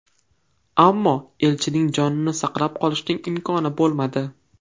Ammo elchining jonini saqlab qolishning imkoni bo‘lmadi.